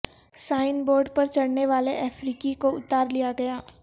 sign board پر چڑھنے والے افریقی کو اتار لیاگیا